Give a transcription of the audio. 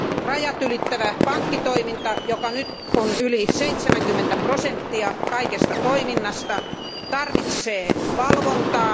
Rajat ylittävä pankkitoiminta, joka nyt on yli 70 prosenttia kaikesta toiminnasta, tarvitsee valvontaa.